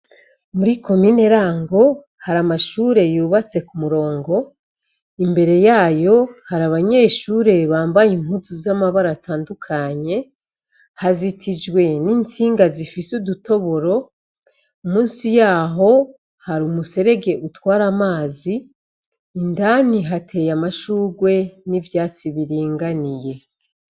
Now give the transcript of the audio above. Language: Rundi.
Muri komine Rango hari amashure yubatse ku murongo, imbere yayo hari abanyeshure bambaye impuzu z'amabara atandukanye, hazitijwe n'intsinga zifise udutoboro, musi yaho hari umuserege utwara amazi, indani hateye amashurwe n'ivyatsi biringaniye.